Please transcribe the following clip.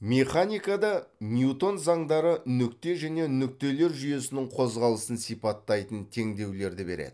механикада ньютон заңдары нүкте және нүктелер жүйесінің қозғалысын сипаттайтын теңдеулерді береді